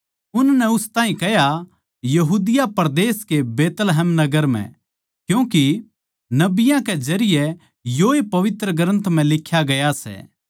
उननै उस ताहीं कह्या यहूदिया परदेस के बैतलहम नगर म्ह क्यूँके नबियाँ कै जरिये योए पवित्र ग्रन्थ म्ह लिख्या गया सै